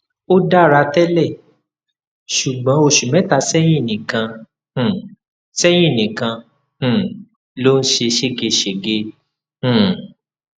ó dára tẹlẹ ṣùgbọn oṣù mẹta sẹyìn nìkan um sẹyìn nìkan um ló ń ṣe ségesège um